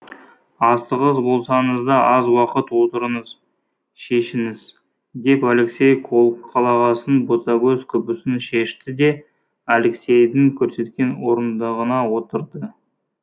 асығыс болсаңыз да аз уақыт отырыңыз шешініңіз деп алексей қолқалағасын ботагөз күпісін шешті де алексейдің көрсеткен орындығына отырды